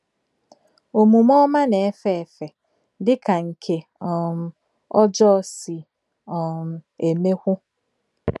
Omume ọma na-efe efe, dị ka nke um ọjọọ si um emekwu